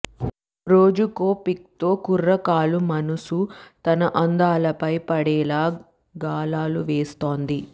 రోజుకో పిక్తో కుర్రకారు మనసు తన అందాలపై పడేలా గాలాలు వేస్తోంది